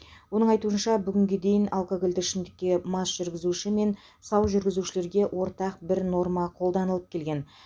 оның айтуынша бүгінге дейін алкогольді ішімдікке мас жүргізуші мен сау жүргізушілерге ортақ бір норма қолданылып келген